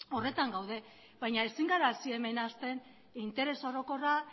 horretan gaude baina ezin gara hemen hasten interes orokorra